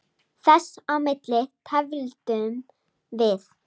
Þess á milli tefldum við.